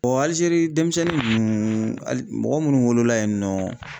Alizeri denmisɛnnin ninnu hali mɔgɔ munnu wolola yen nɔ